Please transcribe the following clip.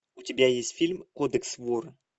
у тебя есть фильм кодекс вора